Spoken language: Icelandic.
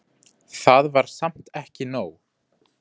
Það var samt ekki nóg.